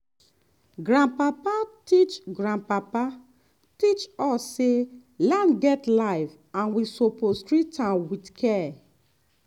grandpapa teach grandpapa teach us say land get life and we suppose treat am with care.